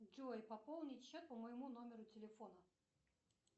джой пополнить счет по моему номеру телефона